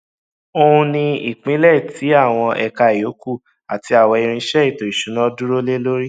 oùn ní ìpìlẹ tì àwọn ẹka ìyókù àti àwọn irinsẹ ètò ìsúná dúró lé lórí